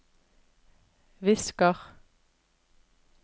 visker